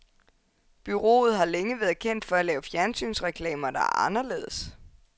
Bureauet har længe været kendt for at lave fjernsynsreklamer, der er anderledes.